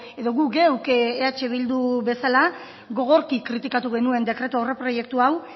edo gu geuk eh bildu bezala gogorki kritikatu genuen dekretu aurreproiektu hau